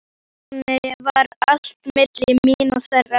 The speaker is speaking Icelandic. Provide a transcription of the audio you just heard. Þannig var allt milli mín og þeirra.